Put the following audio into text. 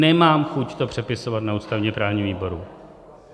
Nemám chuť to přepisovat na ústavně-právním výboru.